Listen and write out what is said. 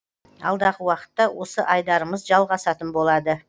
алдағы уақытта осы айдарымыз жалғасатын болады